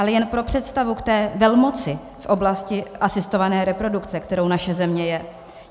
Ale jen pro představu k té velmoci v oblasti asistované reprodukce, kterou naše země je.